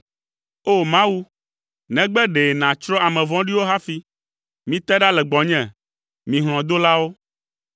O! Mawu, negbe ɖe nàtsrɔ̃ ame vɔ̃ɖiwo hafi! Mite ɖa le gbɔnye, mi hlɔ̃dolawo!